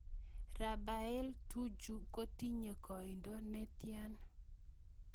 Raphae Tuju kotinye koindo ne tyan